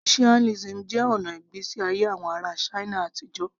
Confucianism jẹ́ ọ̀nà ìgbésí ayé àwọn ará china àtijọ́